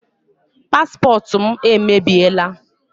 Paspọtụ m emebiela.